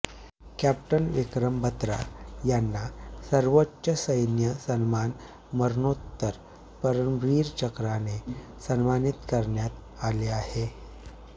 captain Vikram Batra यांना सर्वोच्च सैन्य सन्मान मरणोत्तर परमवीर चक्रने सन्मानित करण्यात आलं आहे